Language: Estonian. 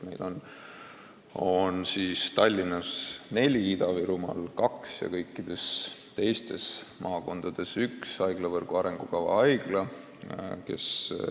Tallinnas on neli ja Ida-Virumaal kaks haiglat ning kõikides teistes maakondades üks haiglavõrgu arengukava haigla.